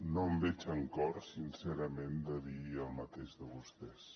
no em veig amb cor sincerament de dir el mateix de vostès